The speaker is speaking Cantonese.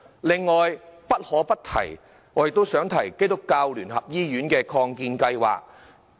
另外，不可不提的是基督教聯合醫院的擴建計劃。